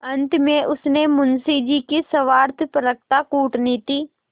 अंत में उसने मुंशी जी की स्वार्थपरता कूटनीति